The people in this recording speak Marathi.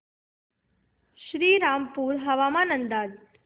श्रीरामपूर हवामान अंदाज